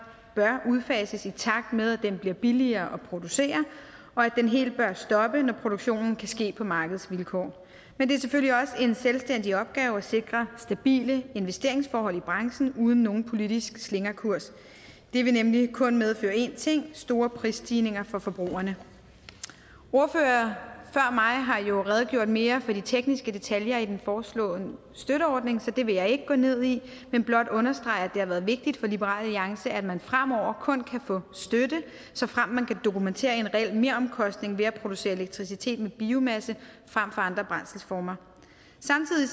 bør udfases i takt med at den bliver billigere at producere og at den helt bør stoppe når produktionen kan ske på markedsvilkår men det er selvfølgelig også en selvstændig opgave at sikre stabile investeringsforhold i branchen uden nogen politisk slingrekurs det vil nemlig kun medføre én ting store prisstigninger for forbrugerne ordførere før mig har jo redegjort mere for de tekniske detaljer i den foreslåede støtteordning så det vil jeg ikke gå ned i men blot understrege at det har været vigtigt for liberal alliance at man fremover kun kan få støtte såfremt man kan dokumentere en reel meromkostning ved at producere elektricitet med biomasse frem for andre brændselsformer samtidig